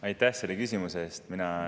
Aitäh selle küsimuse eest!